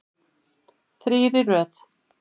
Þrír í röð.